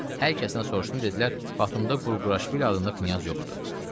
Hər kəsdən soruşdum, dedilər: Batumda Qurquraşvili adında kimsə yoxdur.